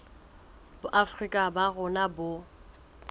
boafrika borwa ba rona bo